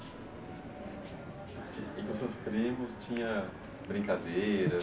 E com seus primos tinha brincadeira?